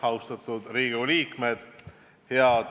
Austatud Riigikogu liikmed!